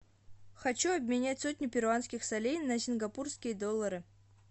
хочу обменять сотню перуанских солей на сингапурские доллары